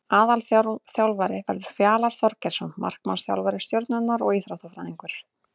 Aðalþjálfari verður Fjalar Þorgeirsson markmannsþjálfari Stjörnunnar og Íþróttafræðingur.